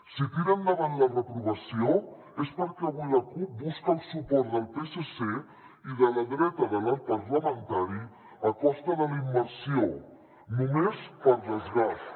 si tira endavant la reprovació és perquè avui la cup busca el suport del psc i de la dreta de l’arc parlamentari a costa de la immersió només per desgast